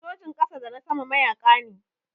Sojin ƙasa da na sama mayaƙa ne.